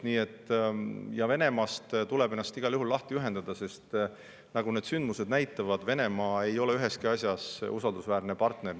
Ja Venemaast tuleb ennast igal juhul lahti ühendada, sest nagu sündmused on näidanud, Venemaa ei ole üheski asjas usaldusväärne partner.